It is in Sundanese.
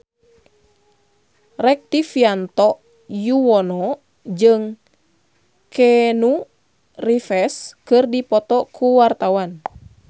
Rektivianto Yoewono jeung Keanu Reeves keur dipoto ku wartawan